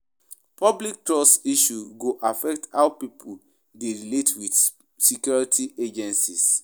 Public trust issues go affect how pipo dey relate with with security agencies.